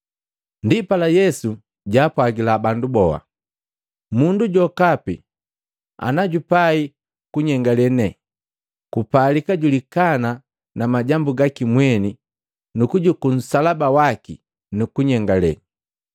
Ndipala Yesu jaapwagila bandu boha, “Mundu jokapi najupai kunyengale ne, kupalika julikana na majambu gaki mweni nukujuku nsalaba waki, junyengaliya.